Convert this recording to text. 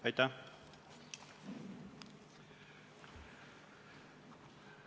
Aitäh!